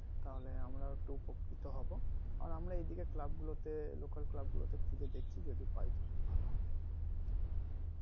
তাহলে আমরা একটু উপকৃত হবো আর আমরা এদিকে club গুলোতে club গুলোতে খুঁজে দেখছি যদি পাই তো তো খুব ভালো হবে